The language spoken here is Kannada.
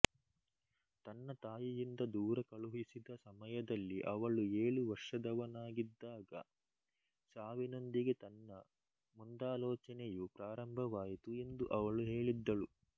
ತನ್ನ ತಾಯಿಯಿಂದ ದೂರ ಕಳುಹಿಸಿದ ಸಮಯದಲ್ಲಿ ಅವಳು ಏಳು ವರ್ಷದವನಾಗಿದ್ದಾಗ ಸಾವಿನೊಂದಿಗೆ ತನ್ನ ಮುಂದಾಲೋಚನೆಯು ಪ್ರಾರಂಭವಾಯಿತು ಎಂದು ಅವಳು ಹೇಳಿದ್ದಳು